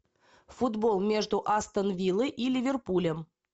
футбол между астон виллой и ливерпулем